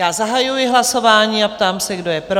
Já zahajuji hlasování a ptám se, kdo je pro?